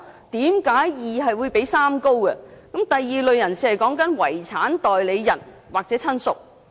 第二類"訂明申索人"是"遺產代理人"或"親屬"。